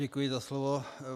Děkuji za slovo.